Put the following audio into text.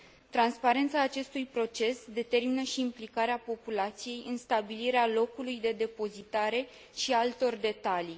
Transparența acestui proces determină și implicarea populației în stabilirea locului de depozitare și a altor detalii.